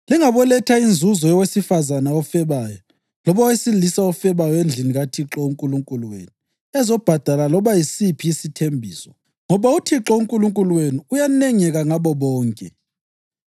Lingaboletha inzuzo yowesifazane ofebayo loba owesilisa ofebayo endlini kaThixo uNkulunkulu wenu ezobhadala loba yisiphi isithembiso, ngoba uThixo uNkulunkulu wenu uyanengeka ngabo bonke.